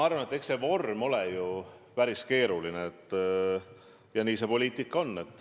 Eks see vorm ole ju päris keeruline, aga niisugune see poliitika on.